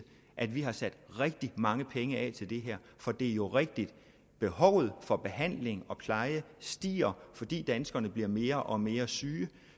at vi har sat rigtig mange penge af til det her for det er jo rigtigt at behovet for behandling og pleje stiger fordi danskerne bliver mere og mere syge